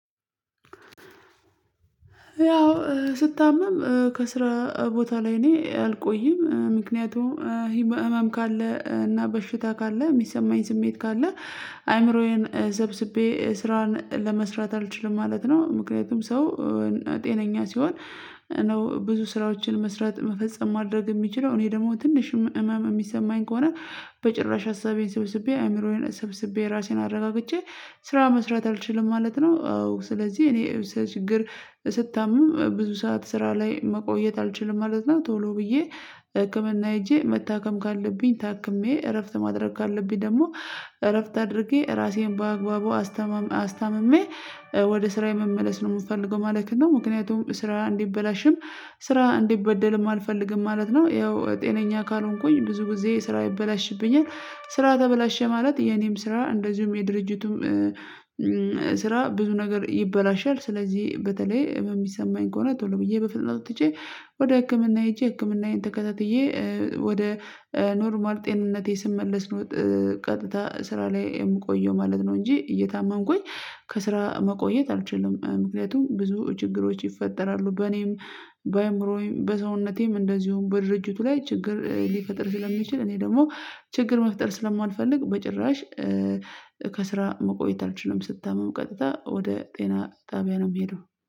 ያው ስታመም ከስራ ቦታ ላይ እኔ አልቆይም ምክንያቱም ህመም ካለ እና በሽታ ካለ የሚሰማኝ ስሜት ካለ አይምሮዬን ሰብስቤ ስራን ለመስራት አልችልም ማለት ነው። ምክንያቱም ሰው ጤነኛ ሲሆን ነው ብዙ ስራዎችን መስራት መፈጸም ማድረግ የሚችለው እኔ ደግሞ ትንሽ እመም የሚሰማኝ ከሆነ በጭራሽ ሀሳቤን ሰብስቤ አእይምሮዬን ሰብስቤ ራሴን አረጋግቼ ስራ መስራት አልችልም ማለት ነው። አዎ ስለዚህ እኔ ችግር ስታምም ብዙ ሰዓት ስራ ላይ መቆየት አልችልም ማለት ነው ቶሎ ብዬ ህክምና ሄጄ መታከም ካለብኝ ታክሜ እረፍት ማድረግ ካለብኝ ደግሞ እረፍት አድርጌ ራሴን በአግባቡ አስታም አስታምሜ ወደ ስራዬ መመለስ ነው የምፈልገው ማለት ነው። ምክንያቱም ስራ እንዲበላሽም ስራ እንዲበደልም አልፈልግም ማለት ነው። ያው ጤነኛ ካልሆንኩኝ ብዙ ጊዜ ስራ ይበላሽብኛል ስራ ተበላሸ ማለት የኔም ስራ እንደዚሁም የድርጅቱም ስራ ብዙ ነገር ይበላሻል። ስለዚህ በተለይ ህመም የሚሰማኝ ከሆነ ቶሎ ብዬ በፍጥነት ወጥቼ ወደ ህክምና ሄጄ ህክምናዬን ተከታትዬ ወደ ኖርማል ጤንነቴ ስመለስ ነው ቀጥታ ስራ ላይ የምቆየው ማለት ነው። እንጂ እየታመምኩኝ ከስራ መቆየት አልችልም ምክንያቱም ብዙ ችግሮች ይፈጠራሉ በኔም በአይምሮዬም በሰውነቴም እንደዚሁም በድርጅቱ ላይ ችግር ሊፈጥር ስለሚችል እኔ ደግሞ ችግር መፍጠር ስለማልፈልግ በጭራሽ ከስራ መቆየት አልችልም። ስታመም ቀጥታ ወደ ጤና ጣቢያ ነው የምሄደው